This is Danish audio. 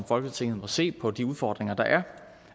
folketinget må se på de store udfordringer der